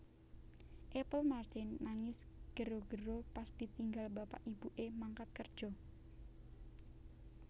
Apple Martin nangis gero gero pas ditinggal bapak ibu e mangkat kerjo